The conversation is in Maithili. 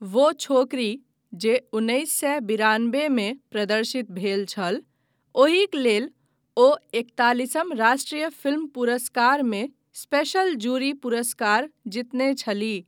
वो छोकरी जे उन्नैस सए बिरानबे मे प्रदर्शित भेल छल, ओहिक लेल ओ एकतालिसम राष्ट्रीय फिल्म पुरस्कारमे स्पेशल जूरी पुरस्कार जीतने छलीह।